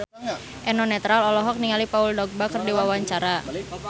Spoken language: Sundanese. Eno Netral olohok ningali Paul Dogba keur diwawancara